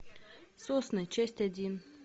сосны часть один